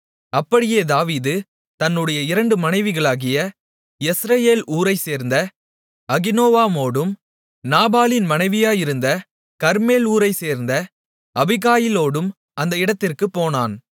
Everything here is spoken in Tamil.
அப்படியே தாவீது தன்னுடைய இரண்டு மனைவிகளாகிய யெஸ்ரயேல் ஊரைச் சேர்ந்த அகினோவாமோடும் நாபாலின் மனைவியாயிருந்த கர்மேல் ஊரைச் சேர்ந்த அபிகாயிலோடும் அந்த இடத்திற்குப் போனான்